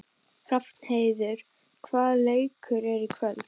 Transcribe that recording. Hrafnheiður, hvaða leikir eru í kvöld?